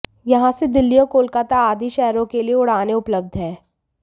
यहां से दिल्ली और कोलकाता आदि शहरों के लिए उड़ानें उपलब्ध है